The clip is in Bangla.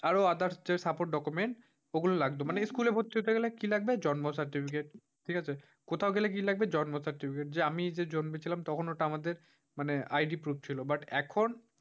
আরো others supports documents এগুলো লাগতো। মানে school ভর্তি হতে গেলে কি লাগবে? জন্ম certificate ঠিক আছে। কোথাও গেলে কি লাগবে জন্ম certificate যে আমি যে জন্মেছিলাম তখন ওটা আমাদের মানে ID proof ছিল। but এখন,